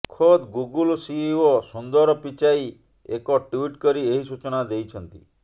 ଖୋଦ୍ Google CEO Sundar Pichai ଏକ tweet କରି ଏହି ସୂଚନା ଦେଇଛନ୍ତି